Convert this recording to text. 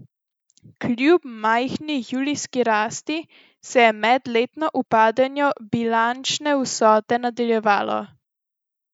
Kljub majhni julijski rasti se je medletno upadanje bilančne vsote nadaljevalo.